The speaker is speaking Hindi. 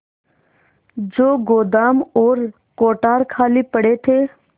जो गोदाम और कोठार खाली पड़े थे